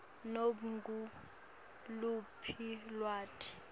nobe nguluphi lwati